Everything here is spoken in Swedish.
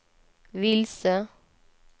vilse